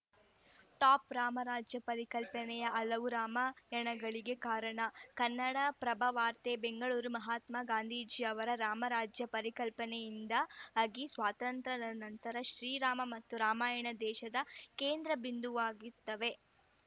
top Ramrajya ಪರಿಕಲ್ಪನೆ ಹಲವು ರಾಮಾಯಣಗಳಿಗೆ ಕಾರಣ ಕನ್ನಡಪ್ರಭ ವಾರ್ತೆ ಬೆಂಗಳೂರು ಮಹಾತ್ಮ ಗಾಂಧೀಜಿ ಅವರ ರಾಮ ರಾಜ್ಯ ಪರಿಕಲ್ಪನೆಯಿಂದ ಆಗಿ ಸ್ವಾತಂತ್ರ್ಯಾನಂತರ ಶ್ರೀರಾಮ ಮತ್ತು ರಾಮಾಯಣ ದೇಶದ ಕೇಂದ್ರ ಬಿಂದುವಾಗುತ್ತವೆ